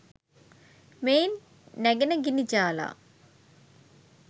මෙයින් නැගෙන ගිනි ජාලා